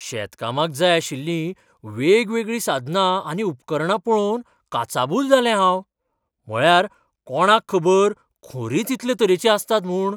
शेतकामाक जाय आशिल्लीं वेगवेगळीं साधनां आनी उपकरणां पळोवन काचाबूल जालें हांव. म्हळ्यार, कोणाक खबर खोरींच इतले तरेचीं आसतात म्हूण?